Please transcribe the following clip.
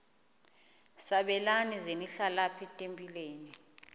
sabelani zenihlal etempileni